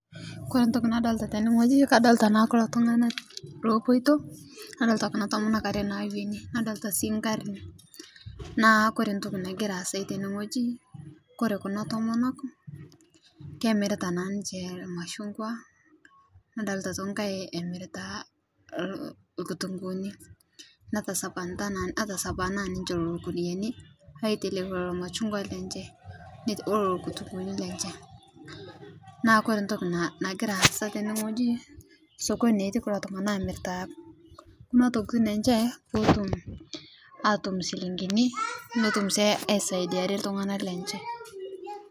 Kore ntoki nadolita teneng'oji nadolita naa kulotung'ana lopoito nadolita kunaa tomonok aree naweeni nadolita sii nkarin, naa koree ntoki nagiraa asai teneng'oji naa kore kunaa tomonok kemirita naa ninche mashugwa nadolita aitoki nkai emirita lkutung'unii natasapanaa ninchee kunuyanii aiteleki lolo mashugwa lenchee ololo kutung'unii lenchee, naa kore ntoki nagira asaa teneng'oji sokoni naa etii kulo tung'ana aamirita kunaa tokitin enchee potum atum shilingini notum sii aisadiaree tung'ana lenchee.